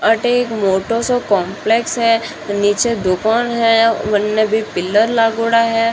अठे एक मोटोसो काम्प्लेक्स है निचे दुकान है वन्ने भी पिल्लर लागोडा है।